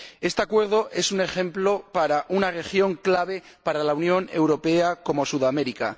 Este Acuerdo es un ejemplo para una región clave para la Unión Europea como Sudamérica.